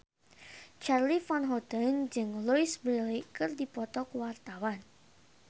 Charly Van Houten jeung Louise Brealey keur dipoto ku wartawan